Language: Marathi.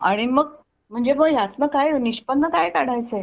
आणि मग म्हणजे ह्यातन काय निष्पन्न काय काढायचं